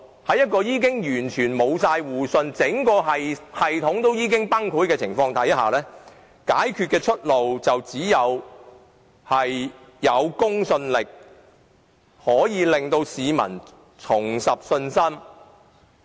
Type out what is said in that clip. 在一個已完全失去互信、整體崩潰的系統下，解決問題的出路便只有靠提高公信力才能令市民重拾信心。